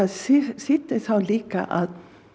þýddi þá líka að